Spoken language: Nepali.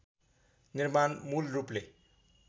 निर्माण मूल रूपले